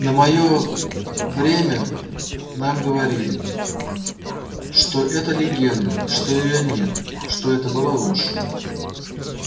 на моё время нам говорили что это легенда что её нет что это была ложь